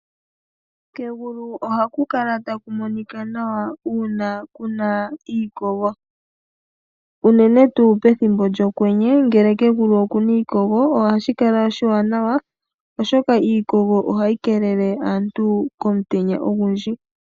Kegulu ohaku kala taku monika nawa ngele ku na iikogo, unene tuu pethimbo lyokwenye ngele kegulu oku na iikogo ohashi kala oshiwanawa, oshoka iikogo ohayi keelele aantu komutenya ogundji.